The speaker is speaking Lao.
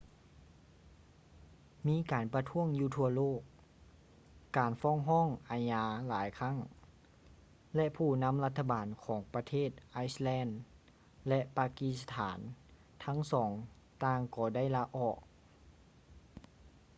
ມີການປະທ້ວງຢູ່ທົ່ວໂລກ ການຟ້ອງຮ້ອງອາຍາຫຼາຍຄັ້ງ ແລະ ຜູ້ນຳລັດຖະບານຂອງປະເທດໄອສແລນ ແລະ ປາກີສະຖານທັງສອງຕ່າງກໍໄດ້ລາອອກ